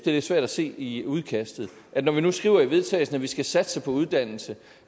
lidt svært at se i udkastet og når vi nu skriver i vedtagelse at vi skal satse på uddannelse